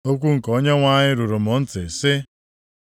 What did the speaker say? Okwu nke Onyenwe anyị ruru m ntị, sị: